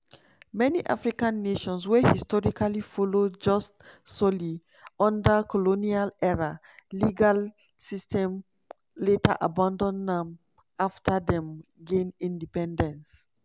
many african nations wey historically follow jus soli under colonial-era legal systems later abandon am afta dem gain independence.